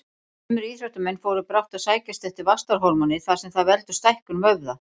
Sumir íþróttamenn fóru brátt að sækjast eftir vaxtarhormóni þar sem það veldur stækkun vöðva.